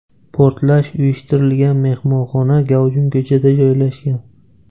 Portlash uyushtirilgan mehmonxona gavjum ko‘chada joylashgan.